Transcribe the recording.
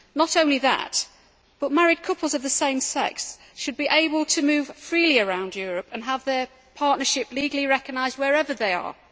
Not only that, but married couples of the same sex should be able to move freely around Europe and have their partnership legally recognised wherever they are.